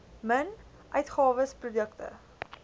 min uitgawes produkte